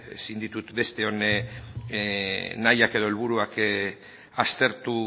ezin ditut besteon nahiak edo helburuak aztertu